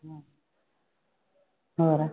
ਹੋਰ।